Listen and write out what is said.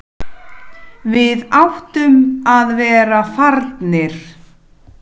Nóttina áður!